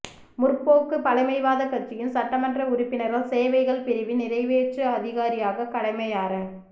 முற்போக்கு பழமைவாதக் கட்சியின் சட்டமன்ற உறுப்பினர்கள் சேவைகள் பிரிவின் நிறைவேற்று அதிகாரியாக கடமையாற